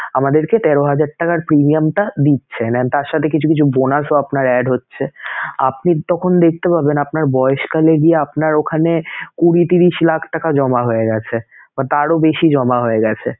আমাদেরকে তেরো হাজার টাকার premium টা দিচ্ছেন and তার সাথে কিছু কিছু bonus ও আপনার হচ্ছেআপনি তখন দেখতে পাবেন আপনার বয়সকালে গিয়ে আপনার ওখানে কুঁড়ি, ত্রিশ লাখ টাকা জমা হয়ে গেছে বা তারও বেশি জমা হয়ে গেছে